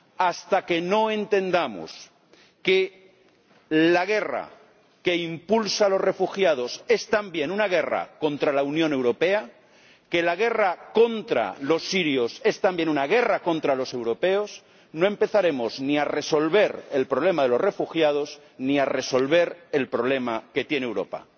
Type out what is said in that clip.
Hasta que no entendamos que la guerra que impulsa a los refugiados es también una guerra contra la Unión Europea, que la guerra contra los sirios es también una guerra contra los europeos, no empezaremos ni a resolver el problema de los refugiados ni a resolver el problema que tiene Europa.